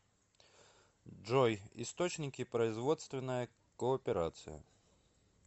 джой источники производственная кооперация